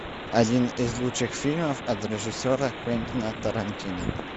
один из лучших фильмов от режиссера квентина тарантино